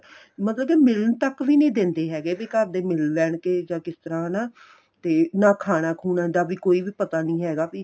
ਮਤਲਬ ਕੀ ਮਿਲਣ ਤੱਕ ਵੀ ਨੀਂ ਦਿੰਦੇ ਹੈਗੇ ਵੀ ਘਰਦੇ ਮਿਲ ਲੈਣਗੇ ਜਾਂ ਕਿਸ ਤਰ੍ਹਾਂ ਹਨਾ ਤੇ ਨਾ ਖਾਣਾ ਖੁਣਾ ਦਾ ਵੀ ਕੋਈ ਵੀ ਪਤਾ ਨੀਂ ਹੈਗਾ ਵੀ